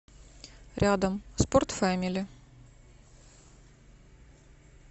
рядом спорт фэмили